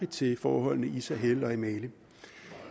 til forholdene i sahel og i mali